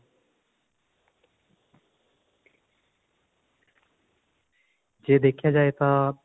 ਜੇ ਦੇਖਿਆ ਜਾਏ ਤਾਂ